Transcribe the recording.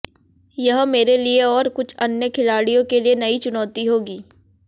यह मेरे लिए और कुछ अन्य खिलाड़ियों के लिए नई चुनौती होगी